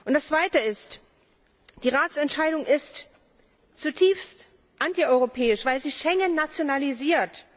Das Zweite ist Die Ratsentscheidung ist zutiefst antieuropäisch, weil sie Schengen nationalisiert.